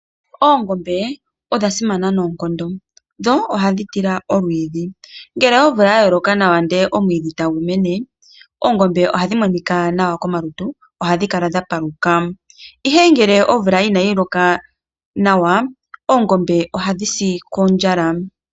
Oongombe odha simana noonkondo dho ohadhi tila olwiidhi ngele omvula ya loka nawa ndele omwiidhi eta gu mene, oongombe oha dhi monika nawa komalutu oha dhi kala dha paluka. Ihe ngele omvula ina yi loka nawa, Oongombe oha dhi si kondjala.